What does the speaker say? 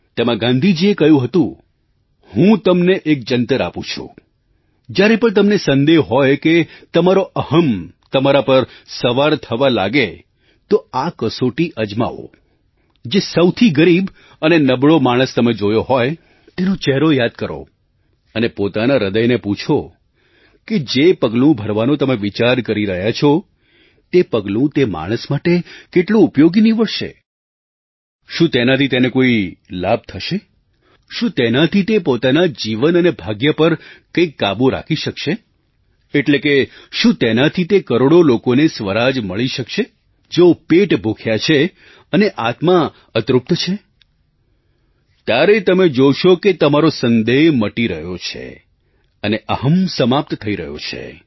તેમાં ગાંધીજીએ કહ્યું હતું હું તમને એક જન્તર આપું છું જ્યારે પણ તમને સંદેહ હોય કે તમારો અહં તમારા પર સવાર થવા લાગે તો આ કસોટી અજમાવો જે સૌથી ગરીબ અને નબળો માણસ તમે જોયો હોય તેનો ચહેરો યાદ કરો અને પોતાના હૃદયને પૂછો કે જે પગલું ભરવાનો તમે વિચાર કરી રહ્યા છો તે પગલું તે માણસ માટે કેટલું ઉપયોગી નિવડશે શું તેનાથી તેને કોઈ લાભ થશે શું તેનાથી તે પોતાના જ જીવન અને ભાગ્ય પર કંઈક કાબૂ રાખી શકશે એટલે કે શું તેનાથી તે કરોડો લોકોને સ્વરાજ મળી શકશે જેઓ પેટ ભૂખ્યા છે અને આત્મા અતૃપ્ત છે ત્યારે તમે જોશો કે તમારો સંદેહ મટી રહ્યો છે અને અહં સમાપ્ત થઈ રહ્યો છે